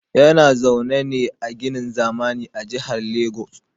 Yana zaune ne a ginin zamani a Jihar Lagos